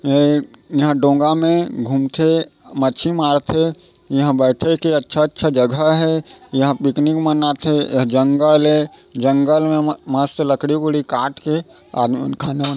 यहाँ डोंगा मे घूमथे मच्छी मारथे इहा बैठे के अच्छा अच्छा जगह हे इहा पिकनिक मनाथे ए हा जंगल हे जंगल मे मस्त लकड़ी वकड़ी काटके आदमी मन खाना बन--